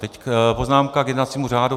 Teď poznámka k jednacímu řádu.